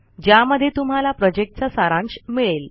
ज्यामध्ये तुम्हाला प्रॉजेक्टचा सारांश मिळेल